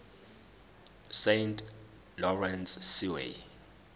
saint lawrence seaway